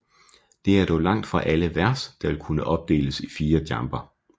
Det er dog langt fra alle vers der vil kunne opdeles i fire jamber